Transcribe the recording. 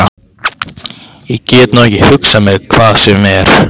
Ég get nú ekki hugsað mér hvað sem er.